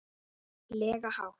lega hátt.